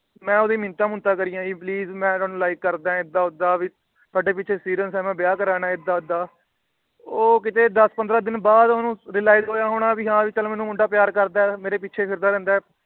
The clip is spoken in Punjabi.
ਮੈ ਓਹਦੀਆ ਮਿੰਨਤਾਂ ਮੁਨਤਾ ਕਰਿਆ ਜੀ Please ਮੈ ਤੈਨੂੰ Like ਕਰਦਾ ਏਦਾਂ ਓਦਾਂ ਤੁਹਾਡੇ ਪਿੱਛੇ Serious ਆ ਮੈ ਵਿਆਹ ਕਰਾਨਾ ਏਦਾਂ ਓਦਾਂ। ਉਹ ਕਿੱਤੇ ਦੱਸ ਪੰਦਰਾਂ ਦਿਨ ਬਾਅਦ ਓਹਨੂੰ Realise ਹੋਇਆ ਹੋਣਾ ਵੀ ਹੈ ਭੀ ਚੱਲ ਮੁੰਡਾ ਮੈਨੂੰ ਪਿਆਰ ਕਰਦਾ। ਮੇਰੇ ਪਿੱਛੇ ਫਿਰਦਾ ਰਹਿੰਦਾ।